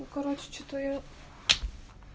ну короче что-то я